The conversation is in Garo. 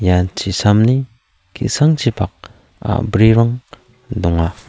ia chisamni ki·sangchipak a·brirang donga.